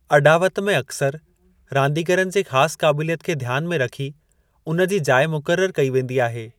अॾावत में अक्सरि रांदिगरनि जे ख़ास क़ाबिलियत खे ध्यान में रखी उन जी जाइ मुक़ररु कई वेंदी आहे।